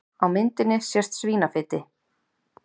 Á myndinni sést svínafeiti.